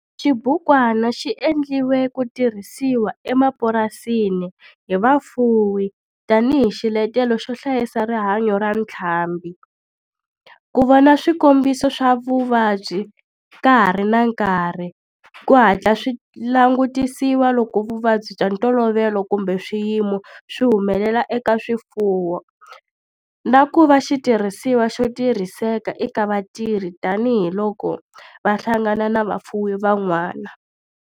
Xibukwana xi endliwe ku tirhisiwa emapurasini hi vafuwi tani hi xiletelo xo hlayisa rihanyo ra ntlhambhi, ku vona swikombiso swa vuvabyi ka ha ri na nkarhi ku hatla swi langutisiwa loko vuvabyi bya ntolovelo kumbe swiyimo swi humelela eka swifuwo, na ku va xitirhisiwa xo tirhiseka eka vatirhi tani hi loko va hlangana na vafuwi van'wana.